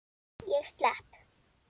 Ég slepp.